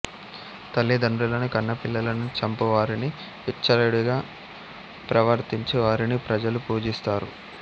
తల్లి తండ్రులను కన్నపిల్లలను చంపు వారిని విచ్చలవిడిగా ప్రవర్తించు వారిని ప్రజలు పూజిస్తారు